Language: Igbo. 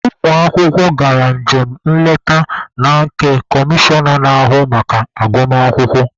Ụmụ akwụkwọ gara njem nleta na nke comishọna na-ahụ maka agụmakwụkwọ.